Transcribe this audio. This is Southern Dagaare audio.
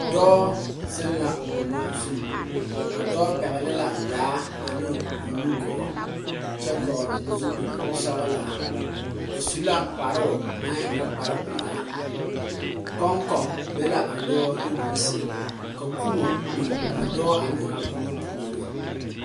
Dɔɔ zeŋ la boŋa zu. A dɔɔ pɛgle la daa ane o nu gɔɔ kyɛ vogle zupul sɔglaa. O su la kparo na e ŋa kpar pulaa. Kɔnkɔ be la a dɔɔ nu duruŋ sɛŋ. Ka kubɔ biŋ a dɔɔ ane a boŋa pooreŋ.